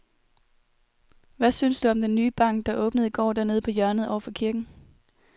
Hvad synes du om den nye bank, der åbnede i går dernede på hjørnet over for kirken?